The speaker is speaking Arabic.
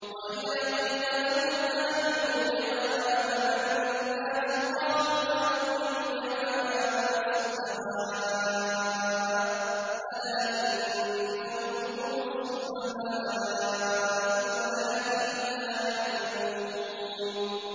وَإِذَا قِيلَ لَهُمْ آمِنُوا كَمَا آمَنَ النَّاسُ قَالُوا أَنُؤْمِنُ كَمَا آمَنَ السُّفَهَاءُ ۗ أَلَا إِنَّهُمْ هُمُ السُّفَهَاءُ وَلَٰكِن لَّا يَعْلَمُونَ